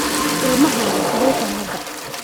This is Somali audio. Ilmahaaga, sidee tahay hadda?